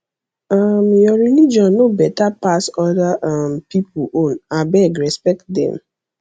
um your religion no beta pass other um pipu own abeg respect dem